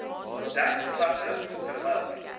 dek klasse terwyl